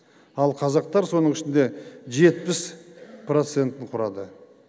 ал қазақтар соның ішінде жетпіс процентін құрады